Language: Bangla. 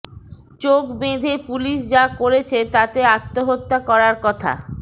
চোখ বেঁধে পুলিশ যা করেছে তাতে আত্মহত্যা করার কথা